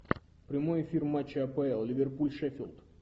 прямой эфир матча апл ливерпуль шеффилд